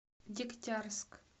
дегтярск